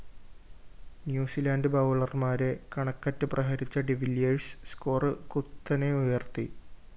New Zealand ബൗളര്‍മാരെ കണക്കറ്റ് പ്രഹരിച്ച ഡിവില്ലിയേഴ്‌സ് സ്കോർ കുത്തനെ ഉയര്‍ത്തി